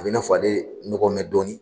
A b'i n'a fɔ ale nɔgɔ n bɛ dɔɔnin